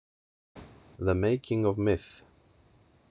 The Making of Myth.